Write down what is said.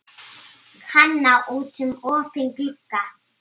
Kana út um opinn glugga.